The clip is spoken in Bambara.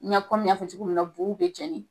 N y'a komin n y'a fɔ cogo min na buw bɛ jɛni